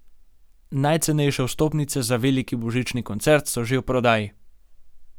Najcenejše vstopnice za veliki božični koncert so že v prodaji.